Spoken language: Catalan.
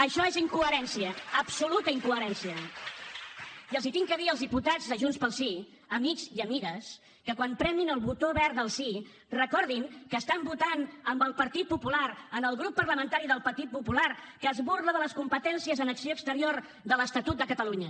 això és incoherència absoluta incoherència i els he de dir als diputats de junts pel sí amics i amigues que quan premin el botó verd del sí recordin que estan votant amb el partit popular amb el grup parlamentari del partit popular que es burla de les competències en acció exterior de l’estatut de catalunya